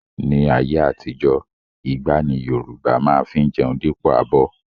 Ni ayé àtijó, igbá ni Yorùbá má fi ń jẹun dípò abọ́